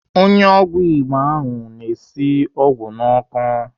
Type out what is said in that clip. Onye ọgwụ Igbo ahụ na-esi ọgwụ n'ọkụ.